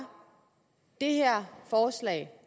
det her forslag